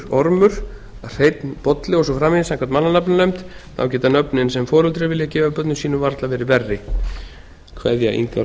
ormur hreinn bolli og svo framvegis samkvæmt mannanafnanefnd þá geta nöfnin sem foreldrar vilja gefa börnum sínum varla verið verri kveðja